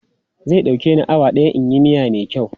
Zai ɗauke ni awa ɗaya in yi miya mai kyau.